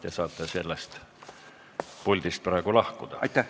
Te saate sellest puldist praegu lahkuda.